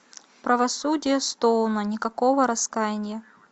правосудие стоуна никакого раскаяния